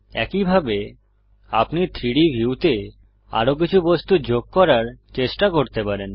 একইভাবে আপনি 3ডি ভিউতে আরো কিছু বস্তু যোগ করার চেষ্টা করতে পারেন